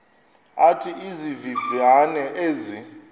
athi izivivane ezi